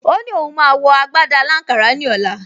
O ní òun máa wọ agbádá aláǹkárá ní ọ̀la